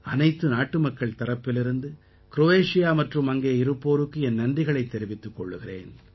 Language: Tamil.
அனைத்து நாட்டுமக்கள் தரப்பிலிருந்து க்ரோயேஷியா மற்றும் அங்கே இருப்போருக்கு என் நன்றிகளைத் தெரிவித்துக் கொள்கிறேன்